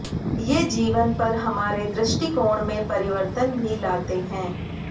ये जीवन पर हमारे दृष्टिकोण में परिवर्तन भी लाते हैं